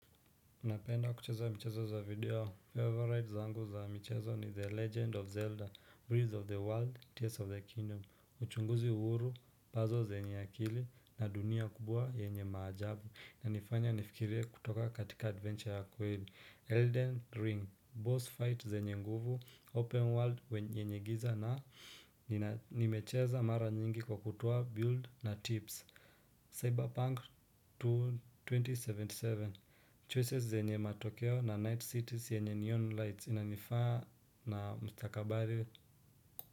Napenda kucheza mchezo za video Favourites zangu za mchezo ni the legend of zelda breeze of the world tears of the kingdom uchunguzi uhuru nazo zenye akili na dunia kubwa yenye maajabu na nifanya nifikire kutoka katika adventure ya kwenye Elden ring boss fight zenye nguvu open world yenye giza na nimecheza mara nyingi kwa kutuoa build na tips cyberpunk to 2077 choices zenye matokeo na night cities yenye neon lights inanifaa na mstakabali.